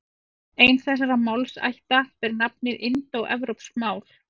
Ein þessara málaætta ber nafnið indóevrópsk mál.